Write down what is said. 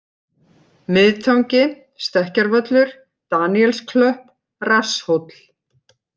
Miðtangi, Stekkjarvöllur, Daníelsklöpp, Rasshóll